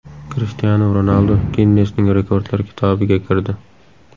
Krishtianu Ronaldu Ginnesning rekordlar kitobiga kirdi.